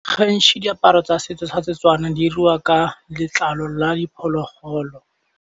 Gantsi diaparo tsa setso tsa Setswana di iriwa ka letlalo la diphologolo.